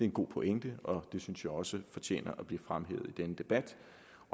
en god pointe og det synes jeg også fortjener at blive fremhævet i denne debat